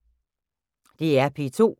DR P2